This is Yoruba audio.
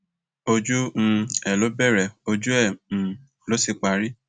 ojú um ẹ ló bẹrẹ ojú ẹ um ló sì parí